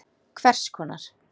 Hvers konar.